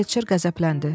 Felçer qəzəbləndi.